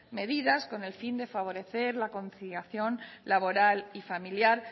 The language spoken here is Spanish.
medidas con el fin de favorecer la conciliación laboral y familiar